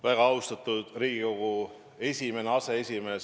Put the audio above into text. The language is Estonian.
Väga austatud Riigikogu esimene aseesimees!